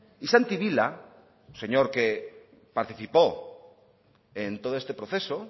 y santi vila un señor que participó en todo este proceso